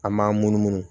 An m'an munumunu